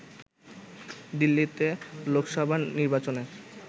দিল্লিতে লোকসভা নির্বাচনের